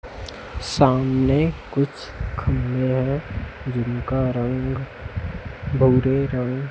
सामने कुछ खंभे है जिनका रंग भूरे रंग --